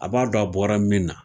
A b'a dɔn a bɔra min na